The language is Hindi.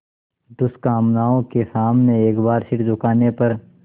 दुष्कामनाओं के सामने एक बार सिर झुकाने पर